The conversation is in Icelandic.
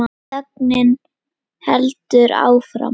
Þögnin heldur áfram.